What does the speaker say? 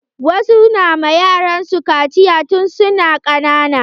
Wasu na ma yaran su kaciya tun suna ƙanana.